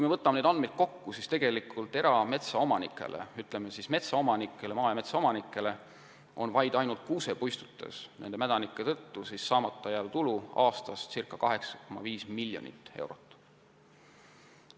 Võttes need andmed kokku, näeme, et maa- ja metsaomanikel jääb ainuüksi kuusepuistutes mädaniku tõttu aastas saamata ca 8,5 miljonit eurot tulu.